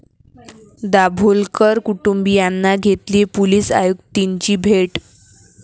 दाभोलकर कुटुंबीयांनी घेतली पोलीस आयुक्तींची भेट